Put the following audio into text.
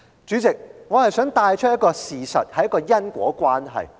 主席，我想帶出一項事實和因果關係。